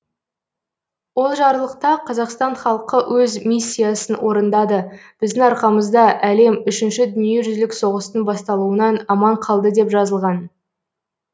ол жарлықта қазақстан халқы өз миссиясын орындады біздің арқамызда әлем үшінші дүниежүзілік соғыстың басталуынан аман қалды деп жазылған